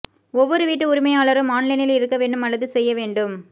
ஒவ்வொரு வீட்டு உரிமையாளரும் ஆன்லைனில் இருக்க வேண்டும் அல்லது செய்ய வேண்டும்